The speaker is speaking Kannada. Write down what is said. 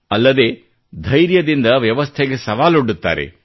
ಅಲ್ಲದೆ ಧೈರ್ಯದಿಂದ ವ್ಯವಸ್ಥೆಗೆ ಸವಾಲೊಡ್ಡುತ್ತಾರೆ